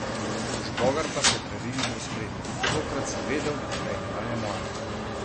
Žbogar pa se je prerinil v ospredje: "Takrat sem vedel, da je medalja moja.